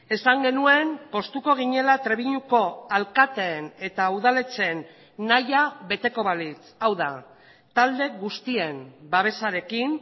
esan genuen poztuko ginela trebiñuko alkateen eta udaletxeen nahia beteko balitz hau da talde guztien babesarekin